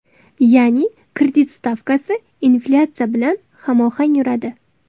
Ya’ni kredit stavkasi inflyatsiya bilan hamohang yuradi.